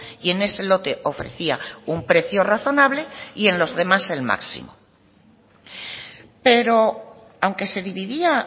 y en ese lote ofrecía un precio razonable y en los demás el máximo pero aunque se dividía